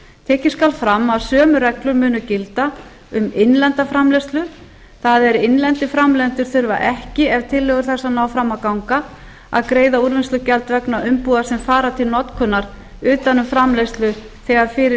tekið skal fram að sömu reglur munu gilda um innlenda framleiðslu það er innlendir framleiðendur þurfa ekki ef tillögur þessar ná fram að ganga að greiða úrvinnslugjald vegna umbúða sem fara til notkunar utan um framleiðslu þegar fyrir